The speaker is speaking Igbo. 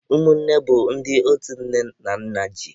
Ụmụnne bụ ndị otu nne na nna ji.